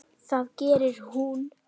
Það gerir hún.